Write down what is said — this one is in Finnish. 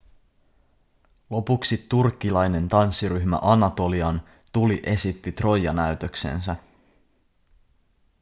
lopuksi turkkilainen tanssiryhmä anatolian tuli esitti troija-näytöksensä